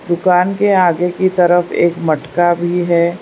दुकान के आगे की तरफ एक मटका भी है।